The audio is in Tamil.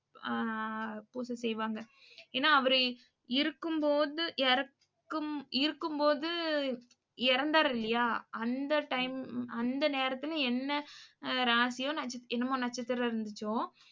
அஹ் பூச செய்வாங்க. ஏன்னா அவரு இருக்கும் போது இறக்கும் இருக்கும் போது இறந்தாரு இல்லையா அந்த டைம் அந்த நேரத்துல என்ன ராசியோ நட்ச என்னமோ நட்சத்திரம் இருந்துச்சோ